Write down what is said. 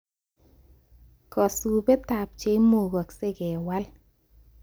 Kasubetab cheimukasei kewal